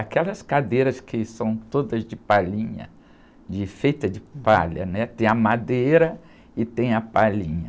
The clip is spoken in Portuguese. Aquelas cadeiras que são todas de palhinha, de, feitas de palha, né? Tem a madeira e tem a palhinha.